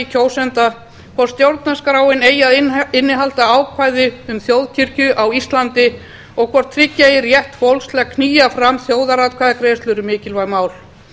kjósenda hvort stjórnarskráin eigi að innihalda ákvæði um þjóðkirkju á íslandi og hvort tryggja eigi rétt fólks til að knýja fram þjóðaratkvæðagreiðslur um mikilvæg mál